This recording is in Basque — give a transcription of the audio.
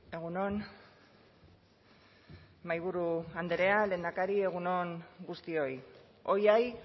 egun on mahaiburu andrea lehendakari egun on guztioi hoy hay